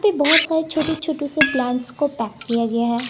यहां पे बहुत सारे छोटे छोटे से प्लांट्स को पैक किया गया है।